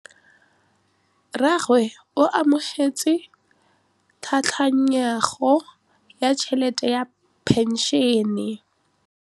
Rragwe o amogetse tlhatlhaganyô ya tšhelête ya phenšene.